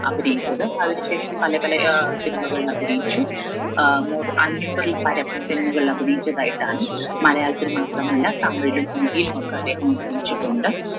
അഭിനയിച്ചത് അതിന് ശേഷം പല പല ഏർ cinema കളിൽ അഭിനയിച്ചു ഏർ നൂർ അഞ്ഞൂറിൽ പരം cinema കളിൽ അഭിനയിച്ചതായിട്ടാണ് മലയാളത്തിൽ മാത്രമല്ല തമിഴിലും ഹിന്ദിയിലുമൊക്കെ അദ്ദേഹം അഭിനയിച്ചിട്ടുണ്ട്